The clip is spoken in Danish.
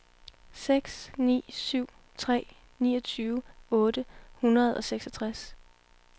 seks ni syv tre niogtyve otte hundrede og seksogtres